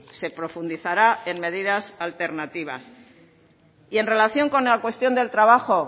se profundizará en medidas alternativas en relación con la cuestión del trabajo